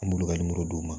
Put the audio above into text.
An b'olu ka d'u ma